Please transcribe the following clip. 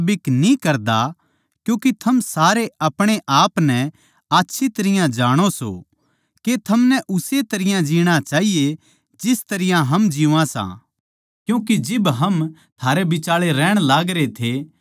क्यूँके थम सारे अपणेआपनै आच्छी तरियां जाणो सों के थमनै उस्से तरियां जीणा चाहिए जिस तरियां हम जीवां सां क्यूँके जिब हम थारै बिचाळै रहण लागरे थे तो हम आलसी कोनी थे